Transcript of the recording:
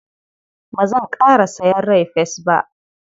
Ba zanƙara sayen rai-fes ba.